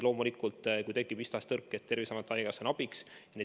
Loomulikult, kui tekib mis tahes tõrkeid, siis Terviseamet ja haigekassa on abiks.